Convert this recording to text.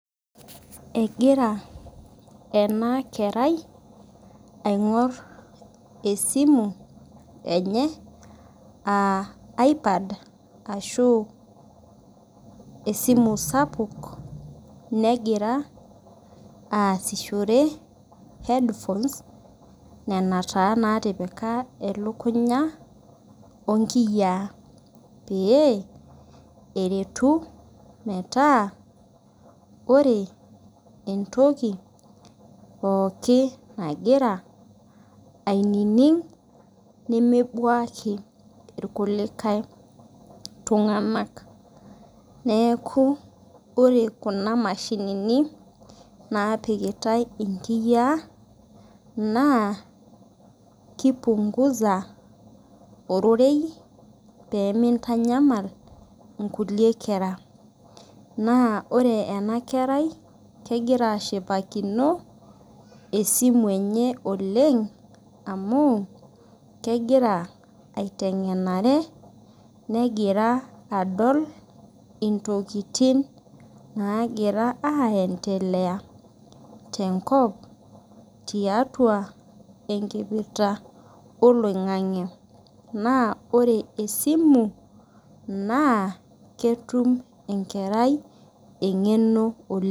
Egira ena kerai aing'or esimu enye, aa iPad ashu esimu sapuk, negira aasishore headphones nena taa natipika elukunya o inkiyaa pee eretu metaa ore entoki pooki nagira ainining' nemebuaki ilkulie tung'ana, neaku ore kuna mashinini, napikitai inkiyaa naa kipunguza ororei pee meitamaai inkulie kera, naa ore ena kerai kegira ashipakino esimu enye oleng' amu egira aiteng'enare, negira adol intokitin naagira aendelea tenkop tiatua enkipirta oloing'ang'e. Naa ore esimu naa ketum enkerai eng'eno oleng'.